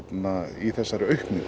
í þessari aukningu